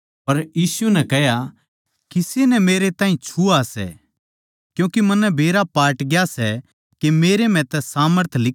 पर यीशु नै कह्या किसे नै मेरै ताहीं छुआ सै क्यूँके मन्नै बेरा पाटग्या के मेरै म्ह तै सामर्थ लिकड़ी सै